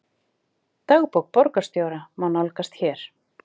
Dagbók borgarstjóra má nálgast hér